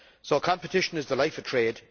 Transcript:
So competition is the life of trade.